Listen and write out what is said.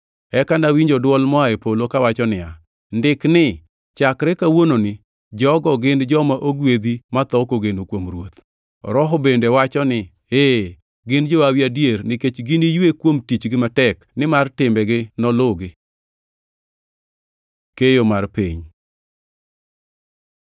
Eka nawinjo dwol moa e polo kawacho niya, “Ndik ni: Chakre kawuononi, jogo gin joma ogwedhi matho kogeno kuom Ruoth!” Roho bende wacho ni, “Ee, gin johawi adier, nikech giniywe kuom tichgi matek, nimar timbegi noluwgi.” Keyo mar piny